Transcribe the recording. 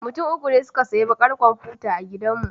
Mutum uku ne suka sayi bakar komfuta a gidanmu.